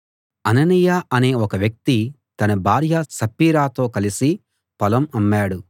అననీయ అనే ఒక వ్యక్తి తన భార్య సప్పీరాతో కలిసి పొలం అమ్మాడు